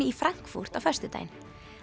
í Frankfurt á föstudaginn